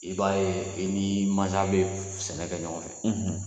I b'a ye i ni maasa be sɛnɛ kɛ ɲɔgɔn fɛ